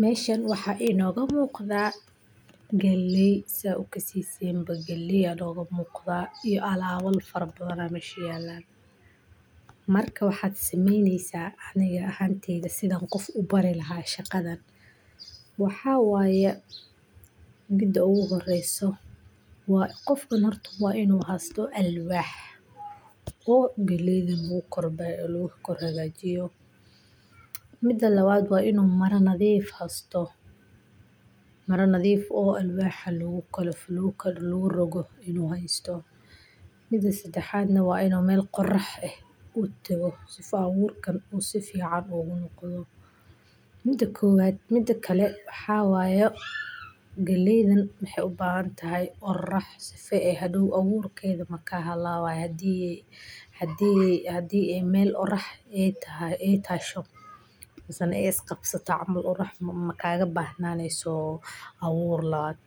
Mesahan mxa inoga muqda galley saa ukasesin galley aa inoga muqda iyo alabal faro badan aa mesha yelan ,marka waxad samenesa ani ahanteyda sidhan qof u bari laha sidha loga shaqeyo shaqadan, maxa waye mida ogu horese waa inu hayo waa alwax oo galleyda lagu kor hagajiyo ,mida labad waa inu mara nadif hesyto oo alwaxan lagu rogo inu heysto, midaa sedexad waa inu mel orax u dago sifaa aburkan uu ugu dego, mida kowaad, mida kale maxa waye galleydan waxey u bahan tahay orax si faa hadow aburkeda maka halawayo hadi ay mel orax ay tasho misena ay is qabsato makaga bax naneso awur lawaad,